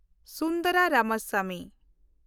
Sundara Ramaswamy